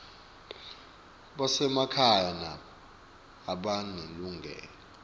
basemakhaya nabo banelilungelo